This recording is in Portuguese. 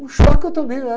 Um choque eu.